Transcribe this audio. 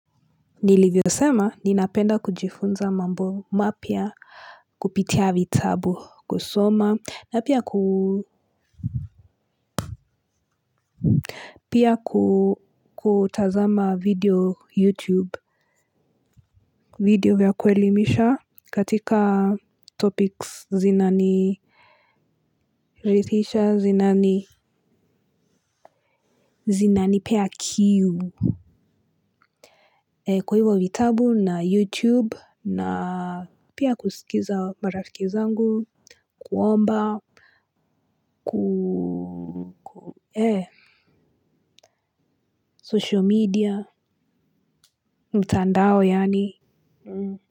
Nilivyo sema ninapenda kujifunza mambo mapya. Kupitia vitabu kusoma na pia kuu pia kuu kutazama video youtube. Video vya kwelimisha katika topics zinani ridhisha zinani zinanipea kiu. Kwa hivo vitabu na youtube na pia kuskiza marafiki zangu. Kuomba Ku Eh, social media, mtandao yaani.